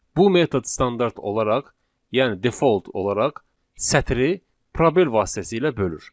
Bu metod standart olaraq, yəni default olaraq sətri probel vasitəsilə bölür.